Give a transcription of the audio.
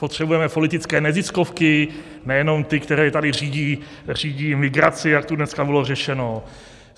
Potřebujeme politické neziskovky, nejenom ty, které tady řídí migraci, jak tu dneska bylo řečeno?